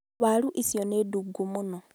waaru icio nĩ ndungu mũno